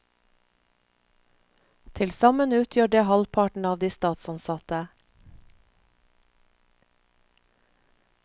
Til sammen utgjør det halvparten av de statsansatte.